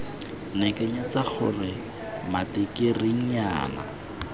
ne ke nyatsa gore matikirinyana